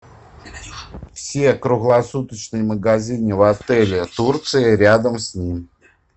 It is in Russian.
все круглосуточные магазины в отеле турции рядом с ним